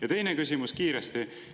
Ja teine küsimus kiiresti.